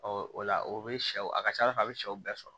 o la o bɛ sɛw a ka ca ala fɛ a bɛ sɛw bɛɛ sɔrɔ